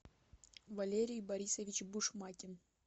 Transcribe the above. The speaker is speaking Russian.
валерий борисович бушмакин